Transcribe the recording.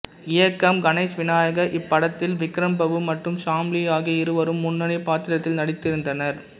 இயக்கம் கணேஷ் வினாயக் இப்படத்தில் விக்ரம் பிரபு மற்றும் ஷாம்லி ஆகிய இருவரும் முன்னணி பாத்திரத்தில் நடித்திருந்தனர்